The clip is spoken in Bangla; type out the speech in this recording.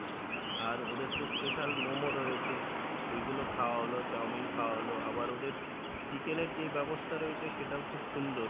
আর ওদের তো special মোমো রয়েছে ওগুলো খাওয়া হলো, চাউমিন খাওয়া হলো, আবার ওদের chicken এর যেই ব্যাবস্তা রয়েছে সেটাও খুব সুন্দর